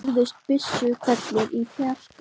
Og nú heyrðust byssuhvellir í fjarska.